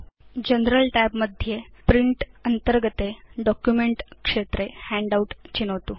general tab मध्ये print tab अन्तर्गते document क्षेत्रे हैण्डआउट चिनोतु